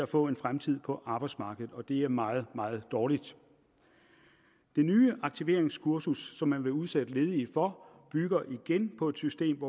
få en fremtid på arbejdsmarkedet og det er meget meget dårligt det nye aktiveringskursus som man vil udsætte de ledige for bygger på et system